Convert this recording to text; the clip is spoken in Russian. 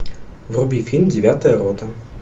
вруби фильм девятая рота